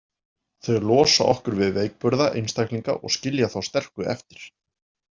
Þau losa okkur við veikburða einstaklinga og skilja þá sterku eftir